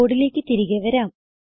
കോഡിലേക്ക് തിരികെ വരാം